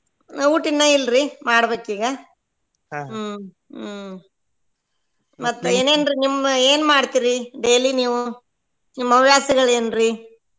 ಊಟ್ ಇನ್ನ ಇಲ್ರಿ ಮಾಡಬೇಕ್ ಈಗ ಹ್ಮ್ ಹ್ಮ್ ಮತ್ತ್ ಏನೇನ್ರೀ ನಿಮ್ ಏನ್ ಮಾಡ್ತೀರಿ daily ನೀವು ನಿಮ್ ಹವ್ಯಾಸಗಳೇನ್ರೀ?